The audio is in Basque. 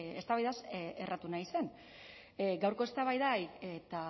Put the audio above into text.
eztabaidaz erratu nahi zen gaurko eztabaidari eta